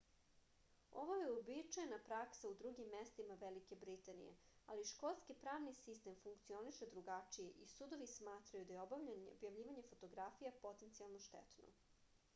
ovo je uobičajena praksa u drugim mestima velike britanije ali škotski pravni sistem funkcioniše drugačije i sudovi smatraju da je objavljivanje fotografija potencijalno štetno